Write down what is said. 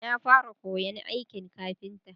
Na fara koyan aikin kafinta